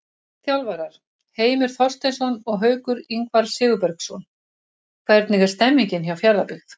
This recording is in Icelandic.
Þjálfarar: Heimir Þorsteinsson og Haukur Ingvar Sigurbergsson Hvernig er stemningin hjá Fjarðabyggð?